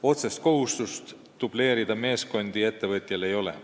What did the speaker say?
Otsest kohustust meeskondi dubleerida ettevõtjal ei ole.